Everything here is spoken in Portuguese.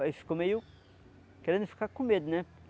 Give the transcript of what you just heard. Aí ficou meio... querendo ficar com medo, né?